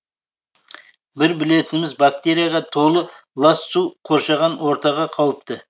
бір білетініміз бактерияға толы лас су қоршаған ортаға қауіпті